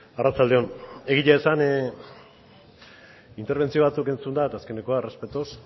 arratsalde on egia esan interbentzio batzuk entzunda eta azkenekoa errespetoz